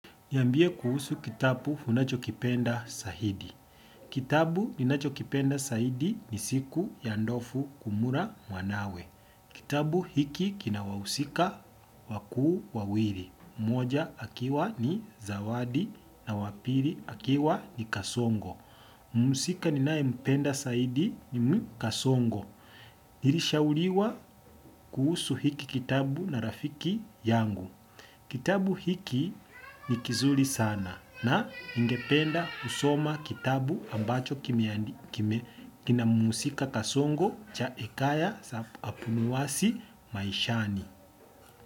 Niambie kuhusu kitabu unacho kipenda zahidi. Kitabu ninacho kipenda zaidi ni siku ya ndovu kula mwanawe. Kitabu hiki kina wahusika wakuu wawili. Mmoja akiwa ni zawadi na wapili akiwa ni kasongo. Mhusika ninaye mpenda zaidi ni kasongo. Nilishauriwa kuhusu hiki kitabu na rafiki yangu. Kitabu hiki ni kizuri sana na ningependa kusoma kitabu ambacho kina mhusika kasongo cha hekaya za abunuwasi maishani.